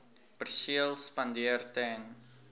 perseel spandeer ten